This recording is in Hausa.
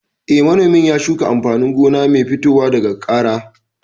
Eh, manomin ya shuka amfanin gona mai fitowa daga kara